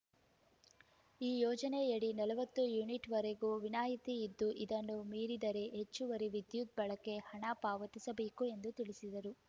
ಈ ಯೋಜನೆಯಡಿ ನಲವತ್ತು ಯೂನಿಟ್‌ವರೆಗೆ ವಿನಾಯಿತಿ ಇದ್ದು ಇದನ್ನು ಮೀರಿದರೆ ಹೆಚ್ಚುವರಿ ವಿದ್ಯುತ್‌ ಬಳಕೆಗೆ ಹಣ ಪಾವತಿಸಬೇಕು ಎಂದು ತಿಳಿಸಿದರು